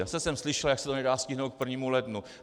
Zase jsem slyšel, jak se to nedá stihnout k 1. lednu.